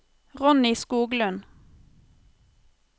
Ronny Skoglund